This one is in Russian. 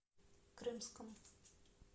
крымском